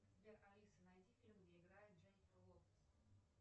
сбер алиса найди фильм где играет дженифер лопес